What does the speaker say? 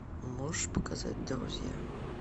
можешь показать друзья